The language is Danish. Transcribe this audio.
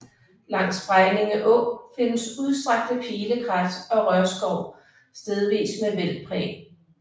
Langs Bregninge Å findes udstrakte pilekrat og rørskov stedvis med vældpræg